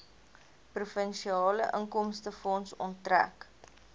provinsiale inkomstefonds onttrek